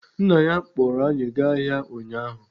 Nna ya kpụrụ anyị gaa ahịa ụnyaahụ.